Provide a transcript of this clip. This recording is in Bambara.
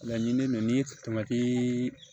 Laɲini ninnu ni